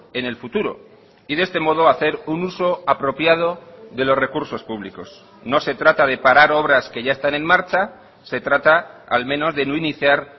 en el futuro y de este modo hacer un uso apropiado de los recursos públicos no se trata de parar obras que ya están en marcha se trata al menos de no iniciar